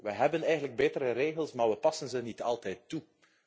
is. We hebben eigenlijk betere regels, maar we passen ze niet altijd